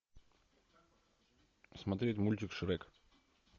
смотреть мультик шрек